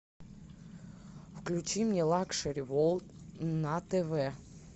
включи мне лакшери ворлд на тв